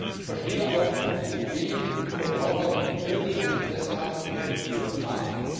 Ich verstehe auch die wenigen Verbraucher, die wirklich ein Interesse haben, die Herkunft zu erfahren.